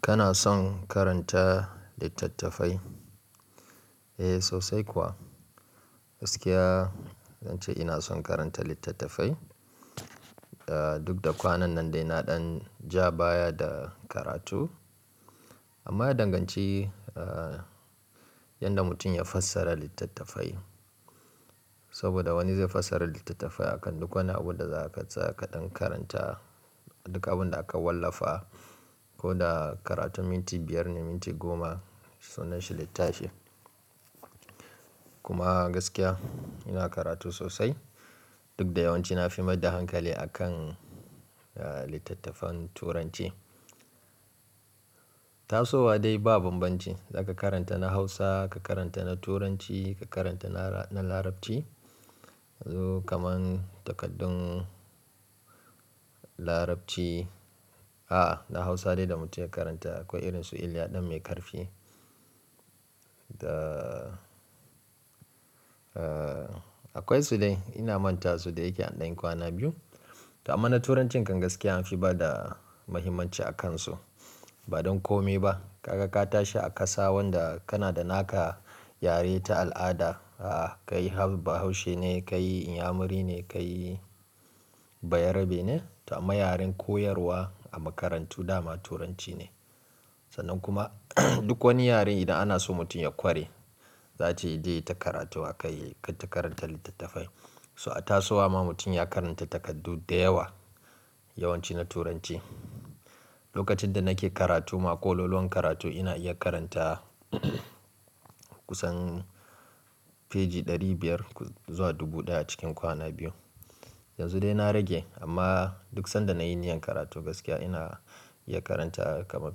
Kana son karanta littattafai? Eh sosai kuwa. Gaskiya zan ce ina son karanta littattafai. Duk da kwanan nan dai na ɗan ja baya da karatu. Amma ya danganci, ah, yadda mutum ya fassara littattafai. Saboda wani zai fassara littattafai akan duk wani abu da za ka tsaya ka ɗan karanta, duka abin da aka wallafa. Ko da karatun minti biyar ne, minti goma, sunan shi littafi. Kuma gaskiya ina karatu sosai. Duk da yawanci na fi mai ɗa hankali a kan, ah, littattafan turanci. Tasowa dai ba bambanci. Za ka karanta na Hausa, ka karanta na Turanci, ka karanta na, na Larabci. Zo kaman takardun Larabci. A'a, na Hausa dai da mutum ya karanta akwai irin su "Iliya ɗan mai karfi." Da, ah, akwai su dai ina manta su da yake an ɗan yi kwana biyu. To amma na Turancin kan gaskiya, na fi ba da mahimmanci a kan su. Ba don kome ba. Ka ga ka tashi a ƙasa wanda kana da naka yare ta al'ada. A'a, kai bahaushe ne, kai inyamuri ne, kai bayarabe ne. To amma yaren koyarwa a makarantu dama Turanci ne. Sanan kuma duk wani yare idan ana so mutum ya ƙware, za ce ya je ya ta karatu a kai, ka ta karanta littattafai. So a tasowa ma mutum ya karanta takardu da yawa, yawanci na Turanci. Lokacin da nake karatu ma, ƙololuwan karatu ina iya karanta kusan feji ɗari biyar zuwa dubu ɗaya cikin kwana biyu. Yanzu dai na rage, amma duk sanda nayi niyyar karatu gaskiya ina iya karanta kama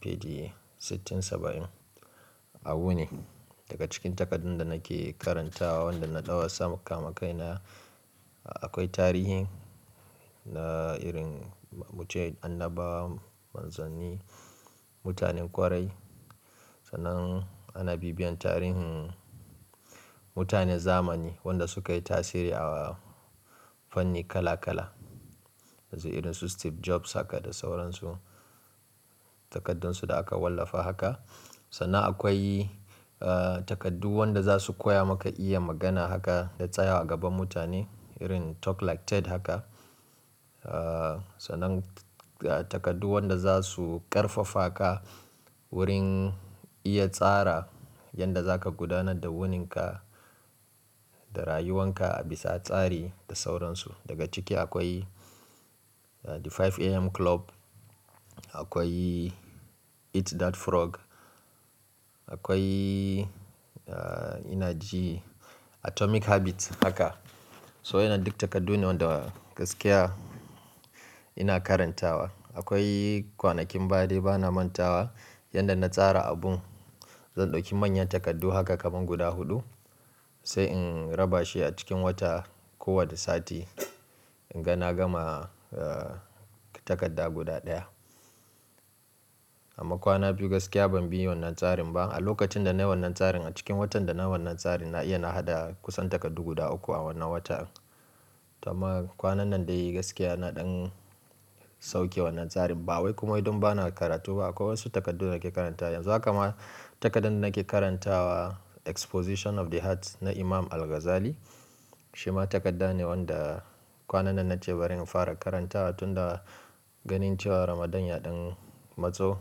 feji sittin, saba'in. Abu ne daga cikin takardun da nake karantawa wanda na ɗauka sama kama kai na. Akwai tarihin na irin muce annabawa, manzanni, mutanen ƙwarai. Sanan ana bibiyan tarihin mutane zamani, wanda suka yi tasiri a fanni kala kala. Yanzu irin su Steve Jobs haka da sauransu. Takardun su da aka wallafa haka. Sanan akwai, ah, takardu wanda za su koya maka iya magana haka da tsaya a gaban mutane irin "Talk like Ted" haka. Ah, sanan takardu wanda za su ƙarfafa ka wurin iya tsara yadda za ka gudanar da wunin ka, da rayuwan ka a bisa tsari da sauransu. Daga cike akwai "The 5 AM Club." Akwai "Eat That Frog." Akwai, ah, ina ji "Atomic Habits" haka. So yana duk takardu ne wanda gaskiya ina karantawa. Akwai, kwanakin baya dai bana manta wa, yanda na tsara abun zan ɗauki manyan takardu haka kaman guda huɗu, sai in raba shi a cikin wata ko wadda sati. In ga na gama, ah, takarda guda ɗaya. Amma kwana biyu gaskiya ban bi wannan tsarin ba. A lokacin da nayi wannan tsarin, a cikin watan da na wannan tsarin, na iya na haɗa kusan takardu guda uku a wannan wata. To amma kwanan nan dai gaskiya na ɗan sauke wannan tsarin. Ba wai kuma don bana karatu ba, akwai wasu takardu nake karanta. Yanzu haka ma takardan da nake karantawa "Exposition of the Heart" na Imam Al-Ghazali. Shi ma takarda ne wanda kwanan nan na ce bari in fara karanta tun da ganin cewa Ramadan ya ɗan matso.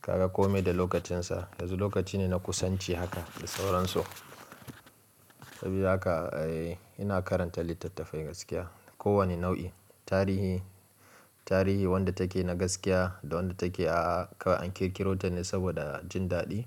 Kaga kome da lokacin sa. Yanzu lokaci ne na kusanci haka da sauransu. Sabida haka, eh, ina karanta littattafai gaskiya. Ko wani nau'i. Tarihi, tarihi wanda take na gaskiya da wanda take a kawai an kirkiro ta ne saboda jin daɗi.